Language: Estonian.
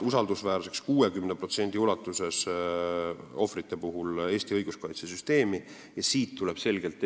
Ohvritest 60% peavad Eesti õiguskaitsesüsteemi usaldusväärseks.